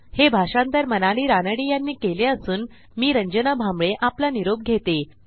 हे भाषांतर मनाली रानडे यांनी केले असून मी रंजना भांबळे आपला निरोप घेते